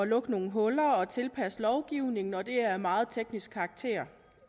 lukke nogle huller og tilpasse lovgivningen og det er af meget teknisk karakter